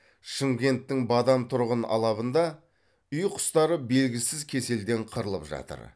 шымкенттің бадам тұрғын алабында үй құстары белгісіз кеселден қырылып жатыр